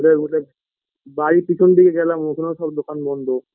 ঘুরে ঘুরে বাড়ির পিছন দিকে গেলাম ওখানে ও সব দোকান বন্ধ